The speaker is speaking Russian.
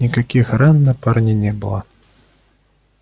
никаких ран на парне не было